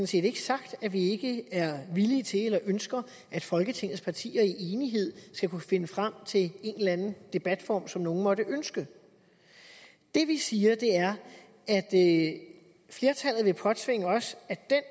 set ikke sagt at vi ikke er villige til eller ikke ønsker at folketingets partier i enighed skal kunne finde frem til en eller anden debatform som nogle måtte ønske det vi siger er at flertallet vil påtvinge os at den